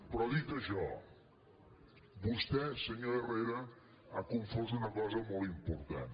però dit això vostè senyor herrera ha confós una cosa molt important